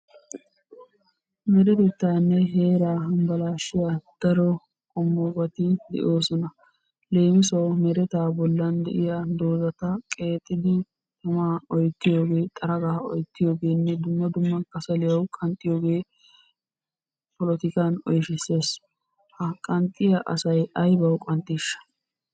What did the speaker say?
Meretettanne heera hambbalashiyaa daro qommobati doosona. Leemisuwawu: mereta bollan de'iyaa doozata qeexidi tama oyttiyooge xaraga oyttiyoogenne dumma dumma kassaliyaw qnxxiyooge polotikkan oyshshissees. Ha qanxxiya asay aybba qanxxisha!